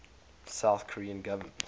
south korean government